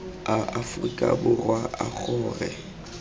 a aforika borwa a gore